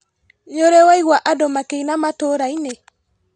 Nĩũrĩ waigua andũ makĩina matũrainĩ?